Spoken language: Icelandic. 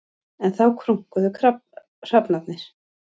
Enn þá krunkuðu hrafnarnir.